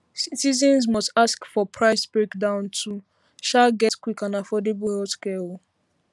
citizens must ask for price breakdown to um get quick and affordable healthcare um